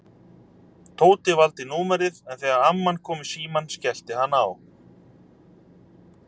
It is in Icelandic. Tóti valdi númerið en þegar amman kom í símann skellti hann á.